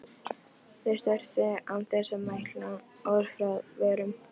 Þau störðu án þess að mæla orð frá vörum.